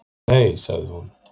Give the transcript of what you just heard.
Nei, sagði hún.